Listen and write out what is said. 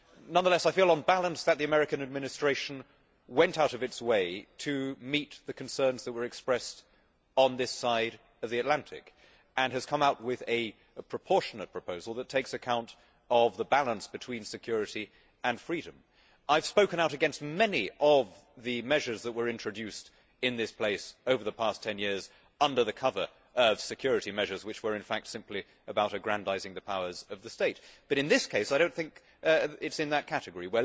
Nonetheless, I feel on balance that the American Administration went out of its way to meet the concerns which were expressed on this side of the Atlantic and has come out with a proportionate proposal which takes account of the balance between security and freedom. I have spoken out against many of the measures that were introduced in this place over the past 10 years under the cover of security measures which were in fact simply about aggrandising the powers of the state. But, in this case, I do not think it comes in that category